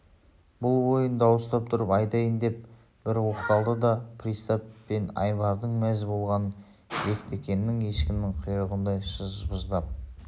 бұл ойын дауыстап тұрып айтайын деп бір оқталды да пристав пен айбардың мәз болғанын бектеннің ешкінің құйрығындай шыжбыңдап